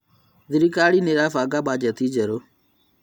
Thirikari ĩrabanga mbajeti njerũ